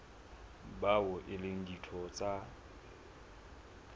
bao e leng ditho tsa